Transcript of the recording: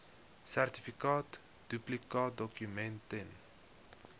sertifikaat duplikaatdokument ten